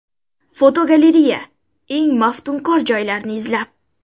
Fotogalereya: Eng maftunkor joylarni izlab.